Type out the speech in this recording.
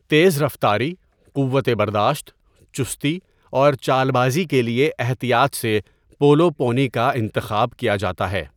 تیز رفتاری، قوت برداشت، چستی اور چالبازی کے لیے احتیاط سے پولو پونی کا انتخاب کیا جاتا ہے۔